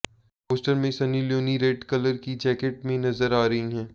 poster में Sunny Leone red colour की jacket में नजर आ रही हैं